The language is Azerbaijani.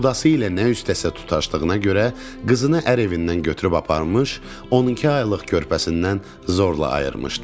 Qudası ilə nə istəsə tutaşdığına görə qızını ər evindən götürüb aparmış, 12 aylıq körpəsindən zorla ayırmışdı.